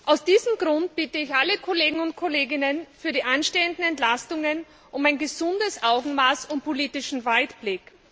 Aus diesem Grund bitte ich alle Kolleginnen und Kollegen für die anstehenden Entlastungen um ein gesundes Augenmaß und politischen Weitblick.